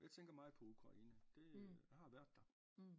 Jeg tænker meget på Ukraine det jeg har været der